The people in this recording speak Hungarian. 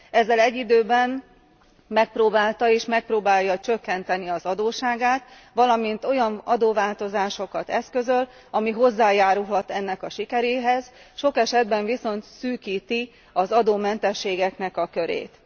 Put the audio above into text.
Ezzel egy időben megpróbálta és megpróbálja csökkenteni az adósságát, valamint olyan adóváltozásokat eszközöl, ami hozzájárulhat ennek a sikeréhez, sok esetben viszont szűkíti az adómentességnek a körét.